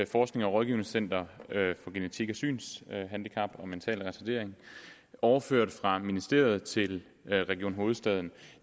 forsknings og rådgivningscenter for genetik synshandicap og mental retardering overføres fra ministeriet til region hovedstaden